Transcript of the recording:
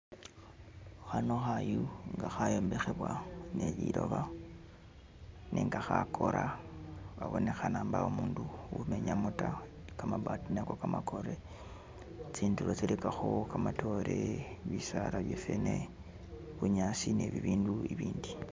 Khano khayu nga khayombekhebwa ne liloba nenga khakora khabonekhana mbawo umundu umenyamo ta kabaati nako kamakore tsindulo tsilikakho kamatoore bisaala bya fene bunyaasi ne bibindu ibindi